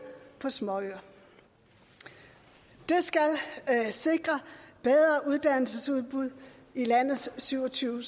på småøer det skal sikre bedre uddannelsesudbud i landets syv og tyve